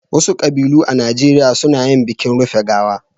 Wasu ƙabilu a Najeriya suna yin bikin rufe gawa.